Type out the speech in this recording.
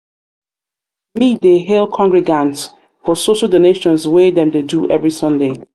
me dey um hail congregants for so so donations um wey wey dem dey do every sunday. um